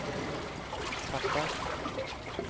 fattar